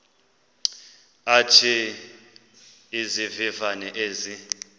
athi izivivane ezi